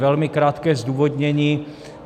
Velmi krátké zdůvodnění.